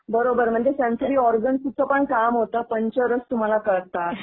बरोबर, म्हणजे सेंसरी ऑर्गन्सचं पण काम होतं, पंचरस तुम्हाला कळतात किंवा ते सगळं.